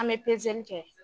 An bɛ pezeli kɛ.